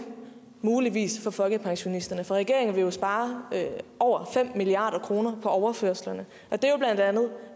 muligvis for folkepensionisterne for regeringen vil spare over fem milliard kroner på overførslerne og det